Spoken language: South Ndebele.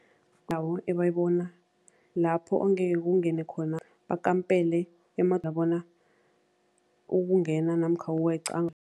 Nabo ebayibona lapho ongeke kungene khona bakampele bona ukungena namkha ukweqa.